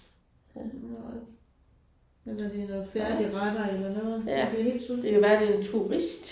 Ja nej. Eller det er noget færdigretter eller noget man bliver helt sulten